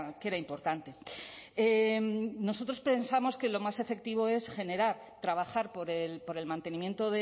que era importante nosotros pensamos que lo más efectivo es generar trabajar por el mantenimiento